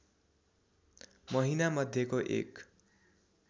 महिनामध्यको एक